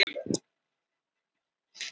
Hafðu mig afsakaðan